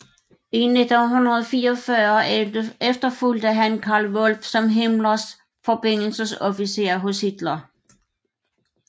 I 1944 efterfulgte han Karl Wolff som Himmlers forbindelsesofficer hos Hitler